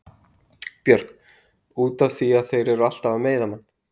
Björk: Út af því að þeir eru alltaf að meiða mann.